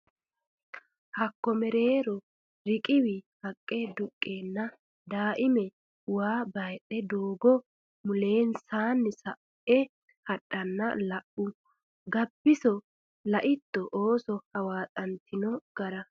Hakko mereero Riqiwi haqqe duqqeenna Daaime waa baydhe doogo mulensaanni sa e hadhanna la u Gabbiso Laitto ooso hawaaxantino gara !